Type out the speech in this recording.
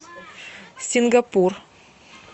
сингапур